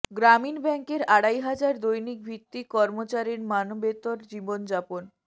গ্রামীণ ব্যাংকের আড়াই হাজার দৈনিক ভিত্তিক কর্মচারীর মানবেতর জীবনযাপন